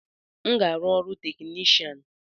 M ga-arụ ọrụ technishan